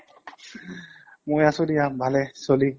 মই আছো দিয়া ভালে চলি।